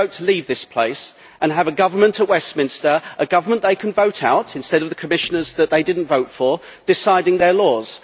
They can vote to leave this place and have a government at Westminster a government they can vote out, instead of the Commissioners that they did not vote for deciding their laws.